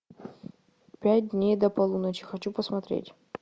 пять дней до полуночи хочу посмотреть